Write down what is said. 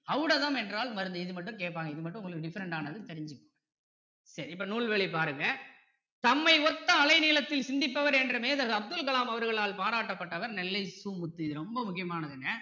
ஔடதம் என்றால் மருந்து இது மட்டும் கேட்பாங்க இது மட்டும் உங்களுக்கு different டானது தெரிஞ்சிகோங்க சரி இப்போ நூல்வழி பாருங்க தம்மை ஒத்த அலை நீளத்தில சிந்திப்பவர் என்று மேதகு அப்துல கலாம் அவர்களால் பாராட்ட பட்டவர் நெல்லை சு முத்து இது ரொம்ப முக்கியமானதுங்க